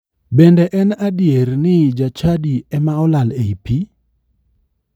Bende en adier ni jachadi ema olal e ii pii?